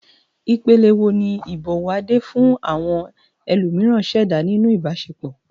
Ìpìlẹ̀ wo ni ìbọ̀wọ̀ Ade fún àwọn ẹlòmíràn ṣẹ̀dá nínú ìbáṣepọ̀?